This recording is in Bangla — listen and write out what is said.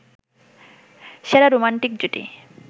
সেরা রোমান্টিক জুটি